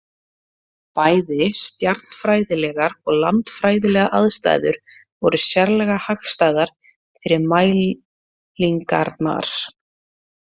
Bæði stjarnfræðilegar og landfræðilegar aðstæður voru sérlega hagstæðar fyrir mælingarnar.